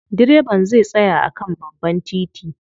Direban zai tsaya a kan babban titi.